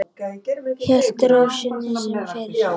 Hélt ró sinni sem fyrr.